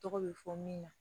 Tɔgɔ bɛ fɔ min ma